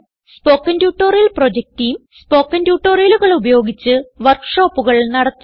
spoken tutorial project team spoken ട്യൂട്ടോറിയലുകൾ ഉപയോഗിച്ച് വർക്ക് ഷോപ്പുകൾ നടത്തുന്നു